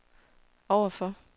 overfor